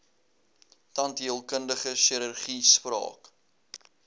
tandheelkundige chirurgie spraak